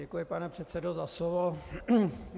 Děkuji, pane předsedo, za slovo.